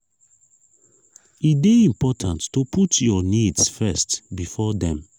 e de important to put your needs first before dem